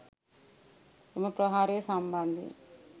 එම ප්‍රහාරය සම්බන්ධයෙන්